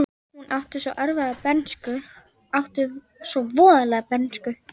Hún átti svo erfiða bernsku, átti svo voðalega bernsku.